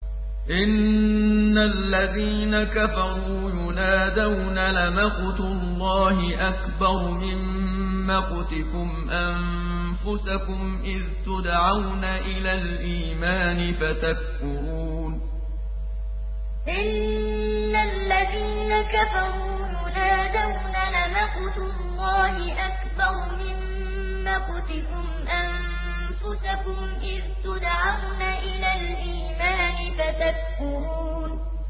إِنَّ الَّذِينَ كَفَرُوا يُنَادَوْنَ لَمَقْتُ اللَّهِ أَكْبَرُ مِن مَّقْتِكُمْ أَنفُسَكُمْ إِذْ تُدْعَوْنَ إِلَى الْإِيمَانِ فَتَكْفُرُونَ إِنَّ الَّذِينَ كَفَرُوا يُنَادَوْنَ لَمَقْتُ اللَّهِ أَكْبَرُ مِن مَّقْتِكُمْ أَنفُسَكُمْ إِذْ تُدْعَوْنَ إِلَى الْإِيمَانِ فَتَكْفُرُونَ